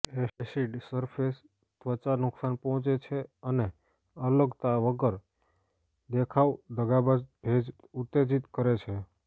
acid surface ત્વચા નુકસાન પહોંચે છે અને અલગતા વગર દેખાવ દગાબાજ ભેજ ઉત્તેજિત કરે છે